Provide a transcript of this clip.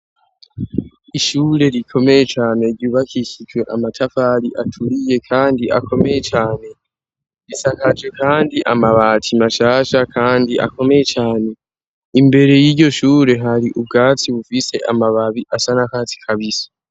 Ishure rikomeye cane ryubakishijwe amatafari aturiye kandi akomeye cane, risakaje kandi amabati mashasha kandi akomeye cane, imbere y'iryo shure hari ubwatsi bufise amababi asa n'akatsi kabisi.